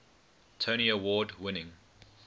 tony award winning